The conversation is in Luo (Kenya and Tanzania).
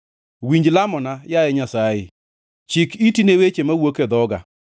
Winj lamona, yaye Nyasaye; chik iti ne weche mawuok e dhoga.